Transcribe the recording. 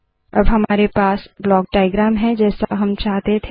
अब हमारे पास ब्लाक डाइअग्रैम है जैसा हम चाहते थे